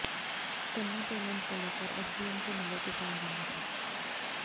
गन्ना पेमेंट को लेकर एसडीएम से मिले किसान संगठन